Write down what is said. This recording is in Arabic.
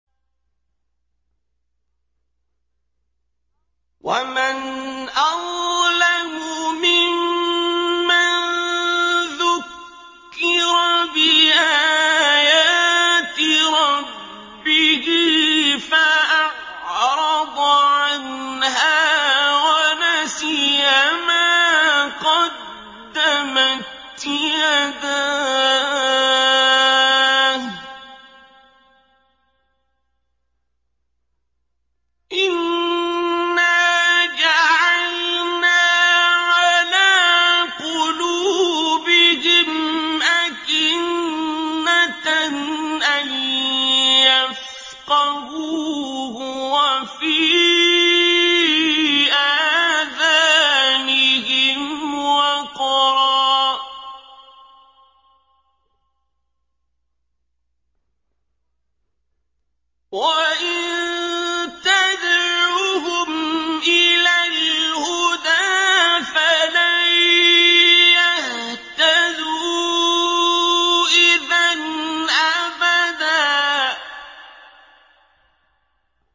وَمَنْ أَظْلَمُ مِمَّن ذُكِّرَ بِآيَاتِ رَبِّهِ فَأَعْرَضَ عَنْهَا وَنَسِيَ مَا قَدَّمَتْ يَدَاهُ ۚ إِنَّا جَعَلْنَا عَلَىٰ قُلُوبِهِمْ أَكِنَّةً أَن يَفْقَهُوهُ وَفِي آذَانِهِمْ وَقْرًا ۖ وَإِن تَدْعُهُمْ إِلَى الْهُدَىٰ فَلَن يَهْتَدُوا إِذًا أَبَدًا